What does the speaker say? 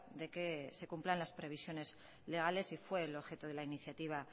de que se cumplan las previsiones legales y fue el objeto de la iniciativa